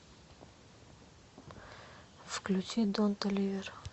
включи дон толивер